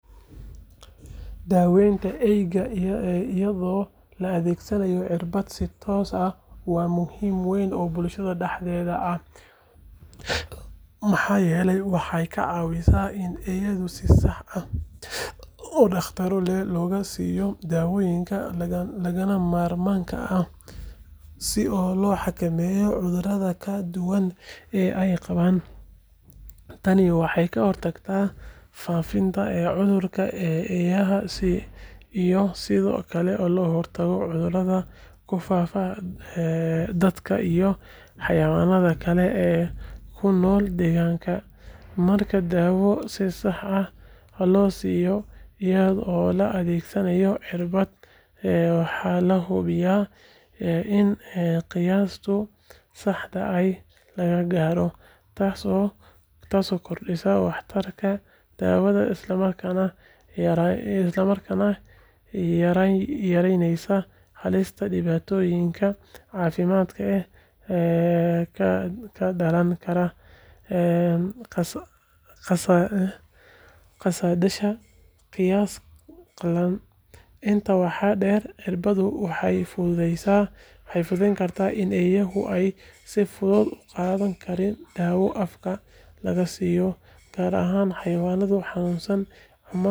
Daawaynta eeyaha iyadoo la adeegsanayo cirbad si toos ah waa muhiimad weyn oo bulshada dhexdeeda ah maxaa yeelay waxay ka caawisaa in eeyaha si sax ah oo dhakhso leh looga siiyo daawooyinka lagama maarmaanka ah si loo xakameeyo cudurrada kala duwan ee ay qabaan. Tani waxay ka hortagtaa faafidda cudurrada eeyaha iyo sidoo kale ka hortagga in cudurradaas ku faaftaan dadka iyo xayawaanka kale ee ku nool deegaanka. Marka daawo si sax ah loo siiyo iyadoo la adeegsanayo cirbad, waxaa la hubiyaa in qiyaasta saxda ah la gaaro, taasoo kordhisa waxtarka daawada isla markaana yaraynaysa halista dhibaatooyinka caafimaad ee ka dhalan kara qaadashada qiyaas khaldan. Intaa waxaa dheer, cirbaddu waxay fududayn kartaa in eeyaha aan si fudud u qaadan karin daawo afka laga siiyo, gaar ahaan xayawaanka xanuunsan.